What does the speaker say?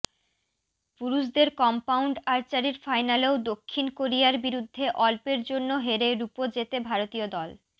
পুরুষদের কম্পাউন্ড আর্চারির ফাইনালেও দক্ষিণ কোরিয়ার বিরুদ্ধে অল্পের জন্য হেরে রুপো জেতে ভারতীয় দল